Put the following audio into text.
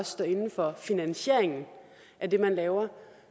stå inde for finansieringen af det man laver